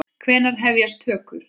Hvenær hefjast tökur?